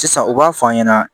Sisan u b'a f'an ɲɛna